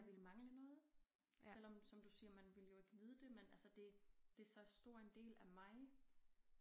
Der ville mangle noget selvom som du siger man ville jo ikke vide det men altså det det så stor en del af mig